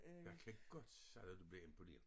Jeg kan godt sige dig du bliver imponeret